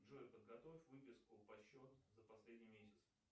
джой подготовь выписку по счету за последний месяц